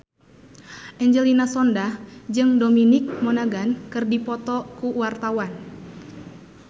Angelina Sondakh jeung Dominic Monaghan keur dipoto ku wartawan